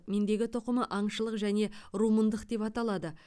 мендегі тұқымы аңшылық және румындық деп аталады